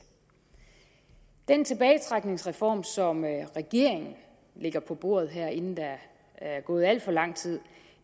den tilbagetrækningsreform som regeringen lægger på bordet her inden der er gået alt for lang tid